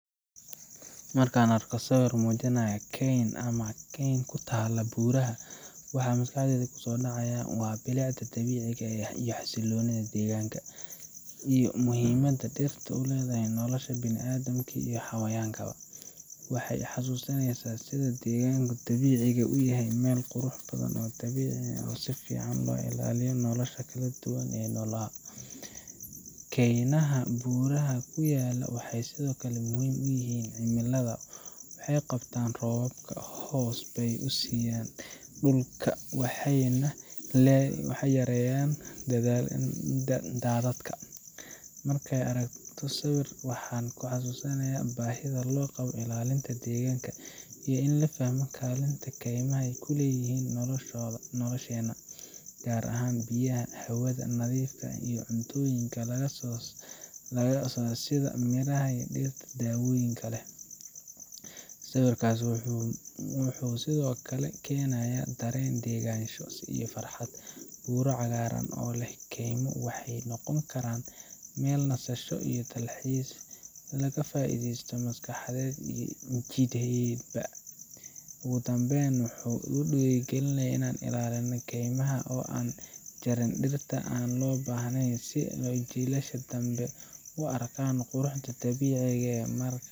Markaan arko sawir muujinaya keyn ama kayn ku taalla buuraha, waxaa maskaxdayda ku soo dhacaya bilicda dabiiciga ah, xasilloonida deegaanka, iyo muhiimadda dhirta ku leh nolosha bini’aadamka iyo xayawaanka. Waxay xusuusinaysaa sida deegaanka dabiiciga ah u yahay meel qurux badan oo dabiici ah, oo si fiican u ilaaliya nolosha kala duwan ee noolaha. Kaynaha buuraha ku yaalla waxay sidoo kale muhiim u yihiin cimilada – waxay qabtaan roobabka, hoos bay siiyaa dhulka, waxayna yareeyaan daadadka. Markaan arko sawirkaas, waxaan xasuustaa baahida loo qabo ilaalinta deegaanka, iyo in la fahmo kaalinta ay kaymaha ku leeyihiin nolosheena, gaar ahaan biyaha, hawada nadiifka ah, iyo cuntooyinka laga helo sida miraha iyo dhirta dawooyinka leh. Sawirkaasi wuxuu sidoo kale keenayaa dareen degganaansho iyo farxad buuro cagaaran oo leh kaymo waxay noqon karaan meel nasasho, dalxiis iyo ka faa’iidaysi maskaxeed iyo jidheedba leh. Ugu dambeyn, wuxuu igu dhiirrigelinayaa in la ilaaliyo kaymaha oo aan la jarin dhirta aan loo baahnayn, si jiilasha dambe ay u arkaan quruxda dabiiciga ah ee